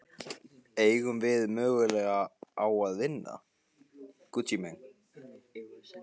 Eigum við möguleika á að vinna?